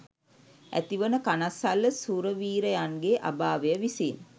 ඇති වන කනස්සල්ල සුරවීරයන්ගේ අභාවය විසින්